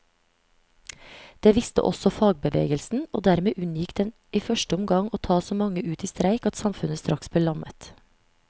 Det visste også fagbevegelsen, og dermed unngikk den i første omgang å ta så mange ut i streik at samfunnet straks ble lammet.